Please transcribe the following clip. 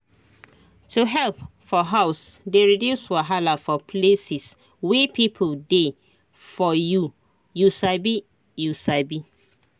to help for house dey reduce wahala for places wey people dey for you you sabi you sabi